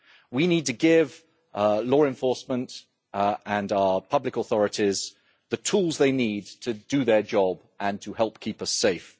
We need to give law enforcement and our public authorities the tools they need to do their job and to help keep us safe.